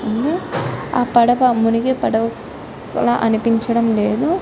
ఆ పడవ కూడ మునిగి చాలా బాగా తేలింఫై--